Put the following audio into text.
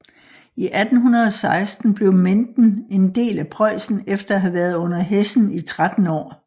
I 1816 blev Menden en del af Preussen efter at have været under Hessen i 13 år